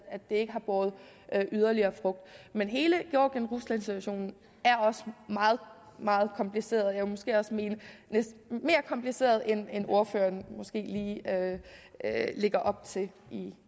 ikke har båret yderligere frugt men hele georgien rusland situationen er også meget meget kompliceret og jeg vil måske også mene mere kompliceret end ordføreren lægger op til